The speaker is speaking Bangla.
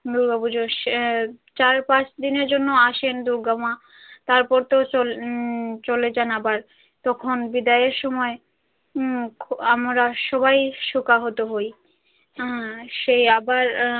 দূর্গাপুজো চার পাঁচ দিনের জন্য আসেন দূর্গামা তারপর তো উম চলে যান আবার তখন বিদায়ের সময় উম আমরা সবাই শোকাহত হই সেই আবার।